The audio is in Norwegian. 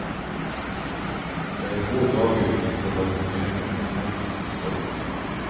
Det er få dager vi ikke har problemer med tekniske stopp.